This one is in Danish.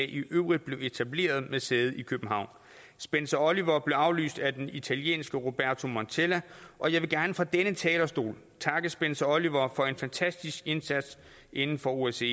i øvrigt blev etableret med sæde i københavn spencer oliver blev afløst af den italienske roberto montella og jeg vil gerne fra denne talerstol takke spencer oliver for en fantastisk indsats inden for osce